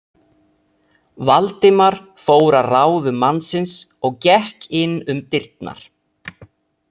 Valdimar fór að ráðum mannsins og gekk inn um dyrnar.